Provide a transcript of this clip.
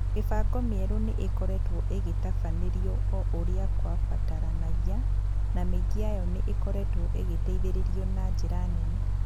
Mĩbango mĩerũ nĩ ĩkoretwo ĩgĩtabanĩrio o ũrĩa kwabataranagia, na mĩingĩ yayo nĩ ĩkoretwo ĩgĩteithĩrĩrio na njĩra nene.